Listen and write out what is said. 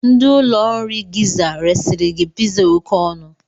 Ndị ụlọ nri Gizza resịrị gị pizza a oké ọnụ.